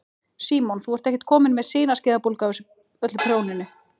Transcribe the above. Símon: Þú ert ekkert komin með sinaskeiðabólgu af öllu prjóninu?